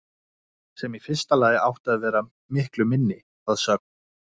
Sem í fyrsta lagi átti að vera miklu minni, að sögn